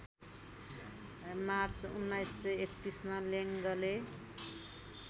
March १९३१ मा लेङ्गले